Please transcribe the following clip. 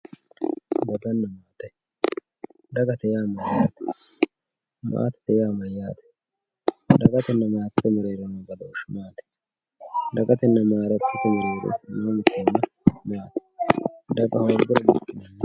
Dagana maate dagate yaa mayate maatete yaa mayate dagatena maatete merero noo badoshu maati dagatena matete afinemo horo maati daga.